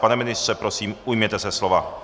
Pane ministře, prosím, ujměte se slova.